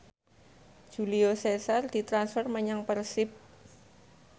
Julio Cesar ditransfer menyang Persib